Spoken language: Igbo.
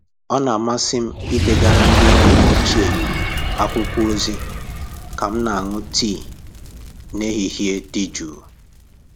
Ọ na-amasị m idegara ndị enyi m ochie akwụkwọ ozi ka m na-aṅụ tii n'ehihie dị jụụ.